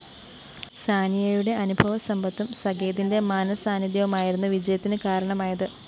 സാനിയയുടെ അനുഭവസമ്പത്തും സകേതിന്റെ മനസാന്നിധ്യവുമായിരുന്നു വിജയത്തിന് കാരണമായത്